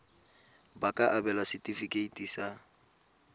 ba ka abelwa setefikeiti sa